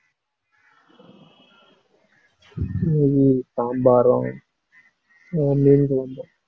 நெய் சாம்பாரும் ஆஹ் மீன் குழம்பும்.